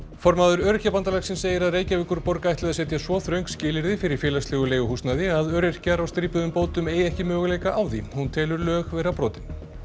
formaður Öryrkjabandalagsins segir að Reykjavíkurborg ætli að setja svo þröng skilyrði fyrir félagslegu leiguhúsnæði að öryrkjar á strípuðum bótum eigi ekki möguleika á því hún telur lög vera brotin